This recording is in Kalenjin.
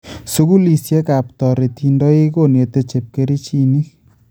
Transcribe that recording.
Sukuulisieka toretiindoik konete chepkerichiinik